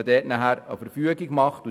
Man soll eine Verfügung erlassen.